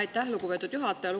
Aitäh, lugupeetud juhataja!